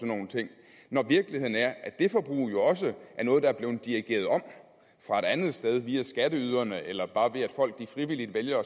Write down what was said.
nogle ting når virkeligheden er at det forbrug jo også er noget der er blevet dirigeret om fra et andet sted via skatteyderne eller bare ved at folk frivilligt vælger